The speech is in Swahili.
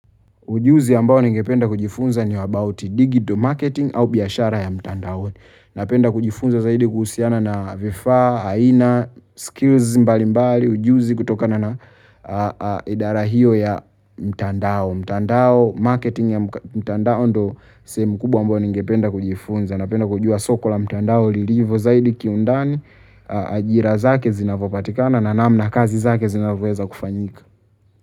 Ujuzi ambao ningependa kujifunza ni wa about digital marketing au biashara ya mtandaoni. Napenda kujifunza zaidi kuhusiana na vifaa aina, skills mbalimbali, ujuzi kutokana na idara hiyo ya mtandao. Mtandao, marketing ya mtandao ndo sehemu kubwa ambao ningependa kujifunza. Napenda kujua soko la mtandao lilivyo zaidi kiundani ajira zake zinavyopatikana na namna kazi zake zinavyoweza kufanyika.